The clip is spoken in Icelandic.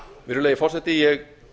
virðulegi forseti ég